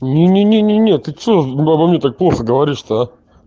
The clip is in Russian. не не не не ты что обо мне так плохо говоришь то